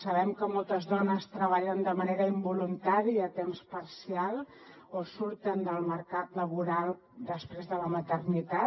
sabem que moltes dones treballen de manera involuntària a temps parcial o surten del mercat laboral després de la maternitat